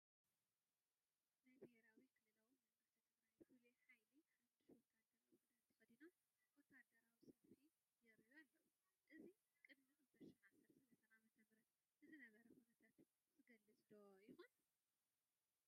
ናይ ብሄራዊ ክልላዊ መንግስቲ ትግራይ ፍሉይ ሓይሊ ሓዱሽ ወታደራዊ ክዳን ተኸዲኖም ወታደራዊ ሰልፊ የርእዩ ኣለዉ፡፡ እዚ ቅድሚ 2013 ዓም ንዝነበረ ኩነታት ዝገልፅ ዶ ይኾን?